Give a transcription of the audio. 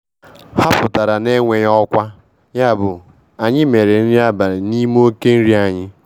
Ha pụtara na-enweghị ọkwa, yabụ anyị mere nri abalị n'ime oke nri anyị.